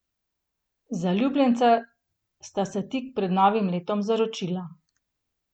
Zaljubljenca sta se tik pred novim letom zaročila.